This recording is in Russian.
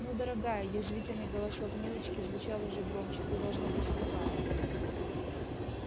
ну дорогая язвительный голосок милочки звучал уже громче ты должно быть слепая